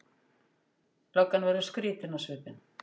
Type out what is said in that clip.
Löggan verður skrýtin á svipinn.